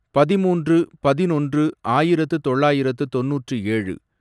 பதிமூன்று, பதினொன்று, ஆயிரத்து தொள்ளாயிரத்து தொண்ணூற்று ஏழு